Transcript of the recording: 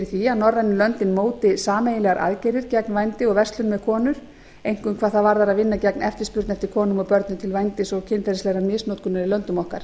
að norrænu löndin móti sameiginlegar aðgerðir gegn vændi og verslun með konur einkum hvað það varðar að vinna gegn eftirspurn eftir konum og börnum til vændis og kynferðislegrar misnotkunar í löndum okkar